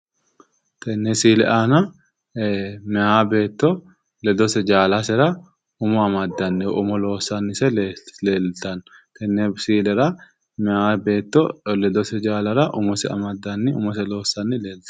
Tenne misille aanna Maya beetto ledose jaallasera umo amaddannise umo loossannise leeltano tenne misillera Maya beetto ledose jaallasera umose amaddanni umose loossanni leeltano.